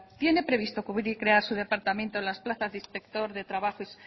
tiene previsto cubrir y crear su departamento las plazas de inspectores